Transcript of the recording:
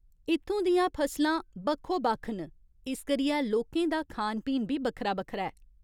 इत्थूं दियां फसलां बक्खो बक्ख न, इस करियै लोकें दा खान पीन बी बक्खरा बक्खरा ऐ।